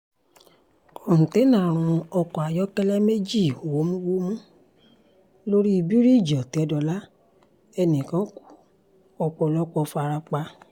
kòńténá rún ọkọ̀ ayọ́kẹ́lẹ́ méjì wómúwómú lórí bíríìjì òtẹ́dọ́là ẹnì kan ku ọ̀pọ̀ ọ̀pọ̀ fara pa